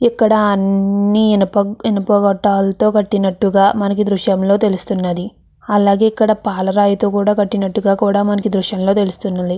ఇక్కడ అన్ని ఇనుప ఇనుప గోట్టాలతో కట్టినట్టుగా మనకి దృష్యంలో తెలుస్తున్నది. అలాగే ఇక్కడ పాల రాయితో కూడా కట్టినట్టుగా కూడా మనకి దృష్యంలో తెలుస్తున్నది.